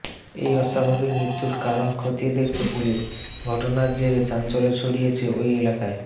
এই অস্বাভাবিক মৃত্যুর কারণ খতিয়ে দেখছে পুলিশ ঘটনার জেরে চাঞ্চল্য ছড়িয়েছে ওই এলাকায়